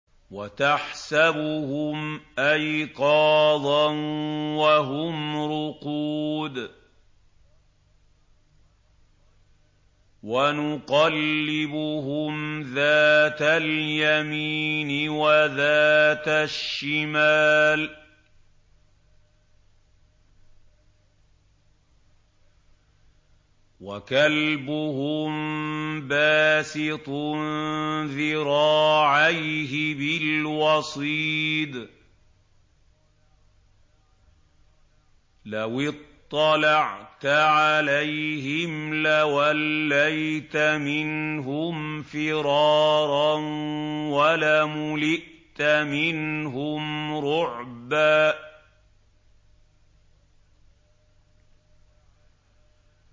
وَتَحْسَبُهُمْ أَيْقَاظًا وَهُمْ رُقُودٌ ۚ وَنُقَلِّبُهُمْ ذَاتَ الْيَمِينِ وَذَاتَ الشِّمَالِ ۖ وَكَلْبُهُم بَاسِطٌ ذِرَاعَيْهِ بِالْوَصِيدِ ۚ لَوِ اطَّلَعْتَ عَلَيْهِمْ لَوَلَّيْتَ مِنْهُمْ فِرَارًا وَلَمُلِئْتَ مِنْهُمْ رُعْبًا